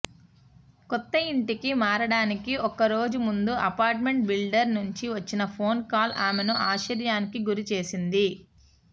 కొత్త ఇంటికి మారడానికి ఒకరోజు ముందు అపార్ట్మెంట్ బిల్డర్ నుంచి వచ్చిన ఫోన్కాల్ ఆమెను ఆశ్చర్యానికి గురి చేసింది